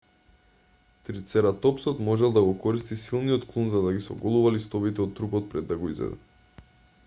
трицератопсот можел да го користи силниот клун за да ги соголува листовите од трупот пред да го изеде